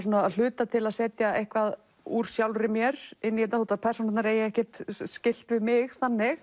að hluta til að setja eitthvað úr sjálfri mér inn í þetta þó persónurnar eigi ekkert skylt við mig þannig